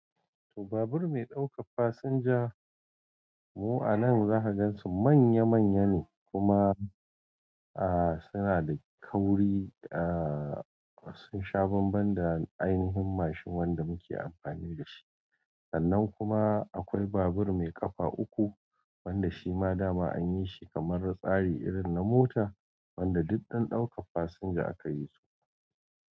Toh, babur mai ɗaukar fasinja mu anan za ka gan su manya-manya ne kuma ah suna da kauri da sun sha banban da ainihin mashin wanda muke amfani da shi. Sannan kuma akwai babur mai ƙafa uku wanda shi ma dama anyi shi kamar tsari irin na mota wanda duk don ɗaukan fasinja akayi su.